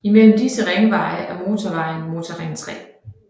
I mellem disse ringveje er motorvejen Motorring 3